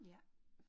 Ja